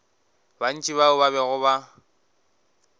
bantši bao ba bego ba